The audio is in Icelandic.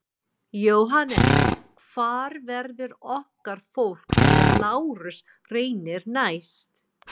JÓHANNES: Hvar verður okkar fólk þegar Lárus reynir næst?